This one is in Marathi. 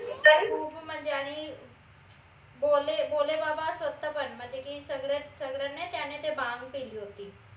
खूप म्हनजे आणि भोले भोले बाबा स्वताः पण म्हनजे की सगडे सगडे नाय त्यानं ते भांग पिली होती